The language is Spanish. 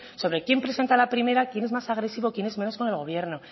sobre quién presenta la primera quién es más agresivo quien es menos con el gobierno